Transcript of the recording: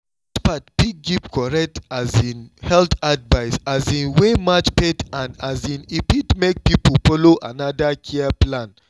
experts fit give correct um health advice um wey match faith and um e fit make people follow another care plan.